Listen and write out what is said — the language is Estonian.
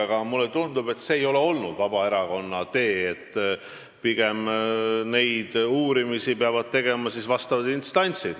Aga mulle tundub, et see ei ole olnud Vabaerakonna tee, pigem peavad neid uurimisi tegema vastavad instantsid.